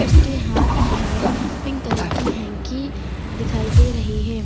इसके हाथ में हमें पिंक कलर की हैंकी दिखाई दे रही हैं।